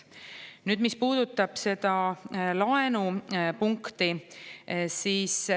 Nüüd sellest, mis puudutab seda laenu punkti.